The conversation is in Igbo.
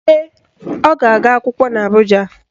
Ee, ọ ga-aga akwụkwọ n'Abụja.